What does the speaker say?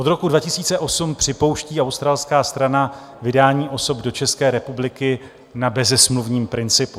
Od roku 2008 připouští australská strana vydání osob do České republiky na bezesmluvním principu.